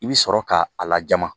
I bi sɔrɔ ka a lajama